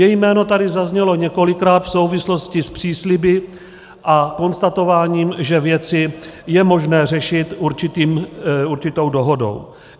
Její jméno tady zaznělo několikrát v souvislosti s přísliby a konstatováním, že věci je možné řešit určitou dohodou.